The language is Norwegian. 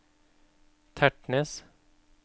Tertnes